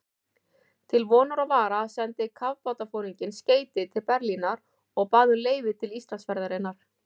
Til vonar og vara sendi kafbátsforinginn skeyti til Berlínar og bað um leyfi til Íslandsferðarinnar.